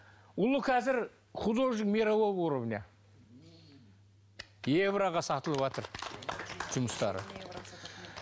ұлы қазір художник мирового уровня евроға сатылыватыр жұмыстары